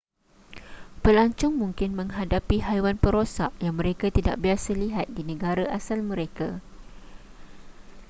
pelancong mungkin menghadapi haiwan perosak yang mereka tidak biasa lihat di negara asal mereka